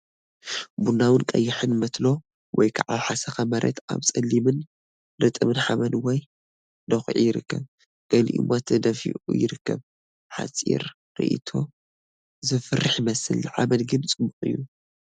ቡናዊን ቀይሕን መትሎ ወይ ከዓ ሓሰኻ መሬት ኣብ ጸሊምን ርጥብን ሓመድ ወይ ድዅዒ ይርከብ፣ ገሊኡ ድማ ተደፊኡ ይርከብ። ሓጺር ርእይቶ፡ ዘፍርሕ ይመስል፡ ንሓመድ ግን ጽቡቕ እዩ!